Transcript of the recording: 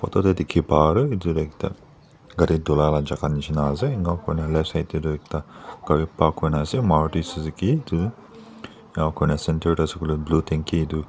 photo dae kiki paa do etu ekta kari dhola laa chaka nishina asae enaka kurina left side ekta kari park kurina asae maruti suzuki etu enaka kurina center dae asae koilae blue thanki etu.